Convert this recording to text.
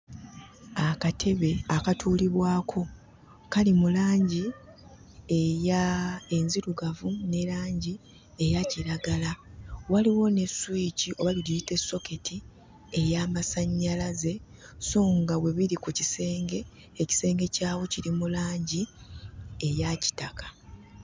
Akatebe akatuulibwako kali mu langi eya... enzirugavu ne langi eyakiragala waliwo ne swiki oba mugiyite ssoketi y'amasannyalaze sso nga we biri ku kisenge ekisenge kyawo kiri mu langi eya kitaka.